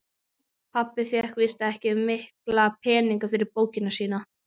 Pabbi fékk víst ekki mikla peninga fyrir bókina sína.